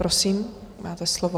Prosím, máte slovo.